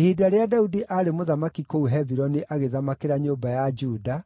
Ihinda rĩrĩa Daudi aarĩ mũthamaki kũu Hebironi agĩthamakĩra nyũmba ya Juda,